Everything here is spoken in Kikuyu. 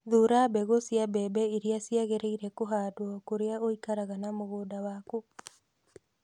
Thuura mbegũ cia mbembe iria ciagĩrĩire kũhandwo kũrĩa ũikaraga na mũgũnda waku.